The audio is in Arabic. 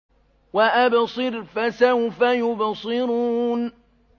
وَأَبْصِرْ فَسَوْفَ يُبْصِرُونَ